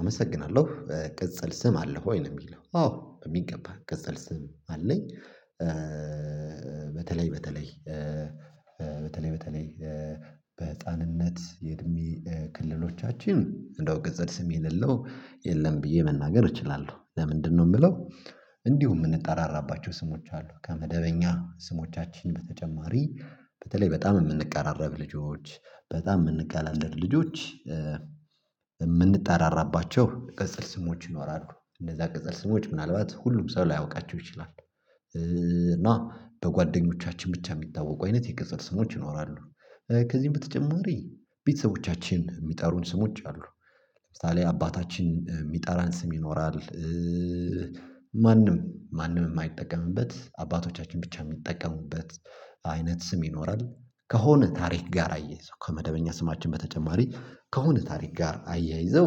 አመሰግናለሁ ቅጽል ስም አለህ ወይ ነው? የሚለው አዎ በሚገባ ቅጽል ስም አለኝ። በተለይ በተለይ በተለይ በተለይ በህፃንነት የእድሜ ክልሎቻችን እንደው ቅዕል ስም የሌለው የለም። ብዬ መናገር እችላለሁ ለምንድነው የምለው እንዲሁ የምንጠራራባቸው ስሞች አሉ ከመደበኛ ስሞቻችን በተጨማሪ በተለይ በጣም የምንቃራረብ ልጆች በጣም የምንቀላለድ ልጆች የምንጠራራባቸው ቅጽል ስሞች ይኖራሉ እነዛ ቅጽል ስሞች ምናልባት ሁሉም ሰው ላያውቃቸው ይችላል። እና በጓደኞቻችን ብቻ የሚታወቁ አይነት የቅጽል ስሞች ይኖራሉ። ከዚህም በተጨማሪ ቤተሰቦቻችን የሚጠሩን ስሞች አሉ። ለምሳሌ አባታችን የሚጠራን ስም ይኖራል። ማንም ማንም ማይጠቀምበት አባቶቻችን ብቻ የሚጠቀሙበት አይነት ስም ይኖራል። ከሆነ ታሪክ ጋር አያይዘው ከመደበኛ ስማችን በተጨማሪ ከሆነ ታሪክ ጋር አያይዘው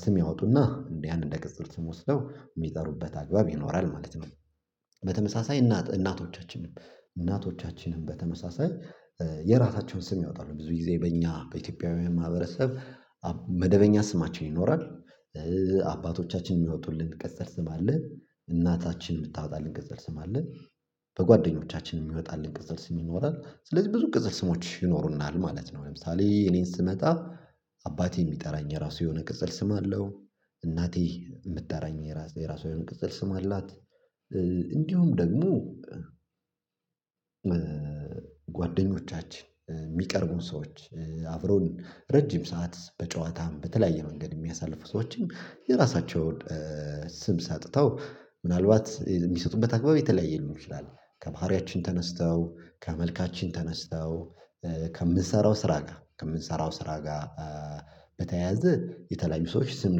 ስም ያወጡና እንዲህ አንድ እንደ ቅጽል ስም ወስደው የሚጠሩበት አግባብ ይኖራል ማለት ነው። በተመሳሳይ እናት እናቶቻችንም እናቶቻችንም በተመሳሳይ የራታቸውን ስም ያወጣሉ ብዙ ጊዜ በእኛ በኢትዮጵያውያን ማህበረሰብ መደበኛ ስማችን ይኖራል እነዛ ቅጽል ስሞች ምናልባት ሁሉም ሰው ላያውቃቸው ይችላል። እና በጓደኞቻችን ብቻ የሚታወቁ አይነት የቅጽል ስሞች ይኖራሉ። ከዚህም በተጨማሪ ቤተሰቦቻችን የሚጠሩን ስሞች አሉ። ለምሳሌ አባታችን የሚጠራን ስም ይኖራል። አባቴ የሚጠራኝ የራሱ የሆነ ቅጽል ስም አለው። እናቴ የምትጨራኝ የራሱ የሆነ ቅጽል ስም አላት። እንዲሁም ደግሞ ጓደኞቻችን የሚቀርቡን ሰዎች አብሮን ረጅም ሰዓት በጨዋታም በተለያየ መንገድ የሚያሳልፉ ሰዎችን የራሳቸውን ስም ሰጥተው ምናልባት የሚሰጡበት አግባብ የተለያየ ሊሆን ይችላል። ከባህሪያችን ተነስተው ከመልካችን ተነስተው ከምንሰራው ስራ ጋር ከምንሰራው ስራ ጋር በተያያዘ የተለያዩ ሰዎች ስም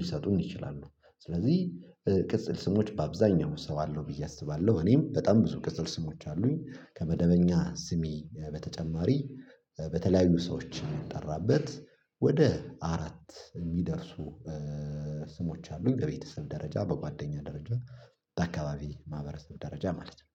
ሊሰጡን ይችላሉ። ስለዚህ ቅጽል ስሞች በአብዛኛው ሰው አለው ብዬ አስባለሁ እኔም በጣም ብዙ ቅጽል ስሞች አሉኝ ከመደበኛ ስሜ በተጨማሪ በተለያዩ ሰዎች የሚጠራበት ወደ አራት የሚደርሱ ስሞች አሉኝ። በቤተሰብ ደረጃ በጓደኛ ደረጃ በአካባቢ ማህበረሰብ ደረጃ ማለት ነው።